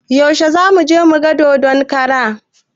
Yaushe zamuje muga dodon kara?